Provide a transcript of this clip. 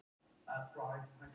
Flóra Íslands.